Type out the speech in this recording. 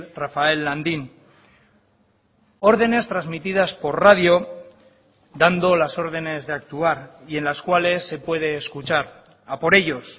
rafael landín órdenes transmitidas por radio dando las órdenes de actuar y en las cuales se puede escuchar a por ellos